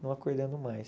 Não acordando mais.